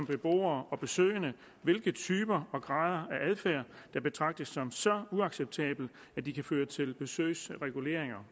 beboere og besøgende hvilke typer og grader af adfærd der betragtes som så uacceptable at de kan føre til besøgsreguleringer